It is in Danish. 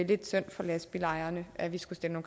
lidt synd for lastbilejerne at vi skulle stille